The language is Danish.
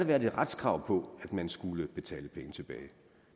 været et retskrav på at man skulle betale penge tilbage